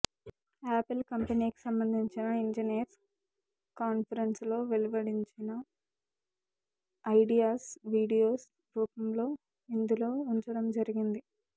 apple కంపెనీకి సంబంధించిన engineers కాన్పరెన్స్లో వెలువడించిన ఐడియాస్ వీడియోస్ రూపంలో ఇందులో ఉంచడం జరిగింది